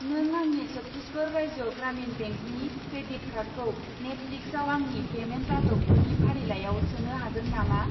नों आंनि चत्तिसगर राज्य ग्रामिन बेंकनि क्रेडिट कार्डखौ नेटफ्लिक्सआव आंनि पेमेन्ट आदबफोरनि फारिलाइयाव सोनो हागोन नामा?